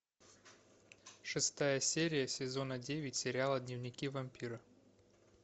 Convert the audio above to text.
шестая серия сезона девять сериала дневники вампира